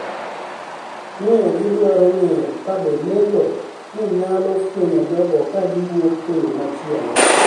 ni e gidwaro nig'eyo kabe lego ni e niyalo fweniyo jogo ka giwuok e yo machielo.